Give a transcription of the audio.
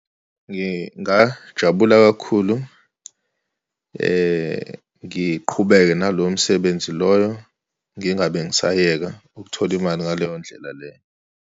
Ngingajabula kakhulu, ngiqhubeke naloyo msebenzi loyo, ngingabe ngisayeka ukuthola imali ngaleyo ndlela leyo.